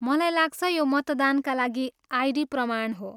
मलाई लाग्छ यो मतदानका लागि आइडी प्रमाण हो।